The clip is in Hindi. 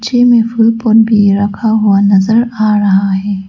इनमे भी रखा हुआ नजर आ रहा है।